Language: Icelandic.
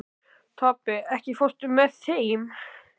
Tobbi, ekki fórstu með þeim?